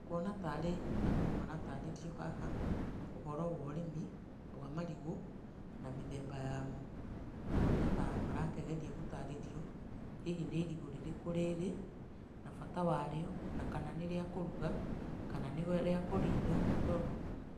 Nguona ta arĩ andũ maratarĩrio haha ũhoro wa ũrĩmi wa marigũ na mĩthemba yamo, ngona ta marakĩgeria gũtarĩrio hihi nĩ irigũ rĩrĩkũ rĩrĩ na bata warĩo na kana nĩ rĩa kũruga, kana nĩ rĩa kũrinda, nĩ tondũ